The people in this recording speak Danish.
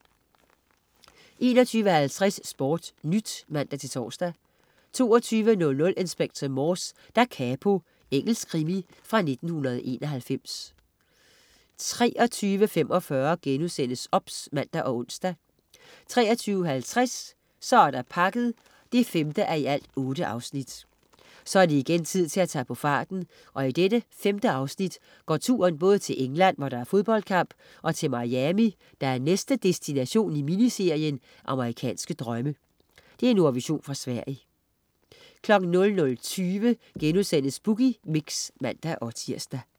21.50 SportNyt (man-tors) 22.00 Inspector Morse: Da capo. Engelsk krimi fra 1991 23.45 OBS* (man og ons) 23.50 Så er der pakket 5:8 Så er det igen tid til at tage på farten, og i dette femte afsnit går turen både til England, hvor der er fodboldkamp, og til Miami, der er næste destination i miniserien "Amerikanske drømme". Nordvision fra Sverige 00.20 Boogie Mix* (man-tirs)